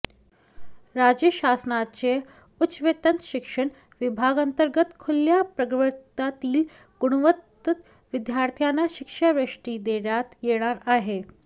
राज्य शासनाच्या उच्च व तंत्र शिक्षण विभागांतर्गत खुल्या प्रवर्गातील गुणवंत विद्यार्थ्यांना शिष्यवृत्ती देण्यात येणार आहे